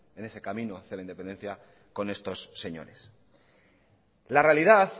en ese camino a la independencia con estos señores la realidad